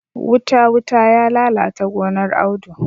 Wuta-wuta ya lalata gonar Audu.